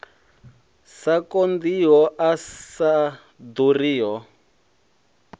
sa konḓiho a sa ḓuriho